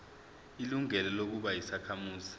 ilungelo lokuba yisakhamuzi